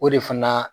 O de fana